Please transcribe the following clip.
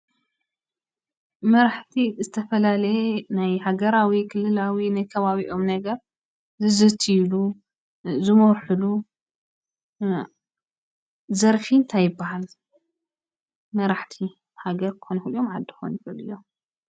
መራሕቲ ዝተፈላለየ ናይ ሃገራዊ፣ ክልላዊ፣ ናይ ከባብኦም ነገር ዝዝትይሉ ዝመርሕሉ ዘርፊ እንታይ ይበሃል ?መራሕቲ ሃገር ክኾኑ ይኽእሉ እዮም ዓዲ ክኾኑ ይኽእሉ እዮም?